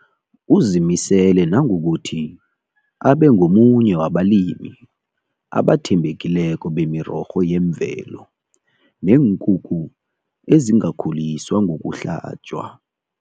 Uzimisele nangokuthi abengomunye wabalimi abathembekileko bemirorho yemvelo neenkukhu ezingakhuliswa ngokuhlatjwa.